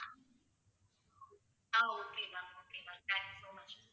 ah okay ma'am okay ma'am thank you so much